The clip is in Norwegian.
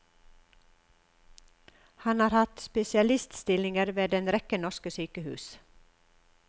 Han har hatt spesialiststillinger ved en rekke norske sykehus.